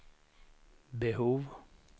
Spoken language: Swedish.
behov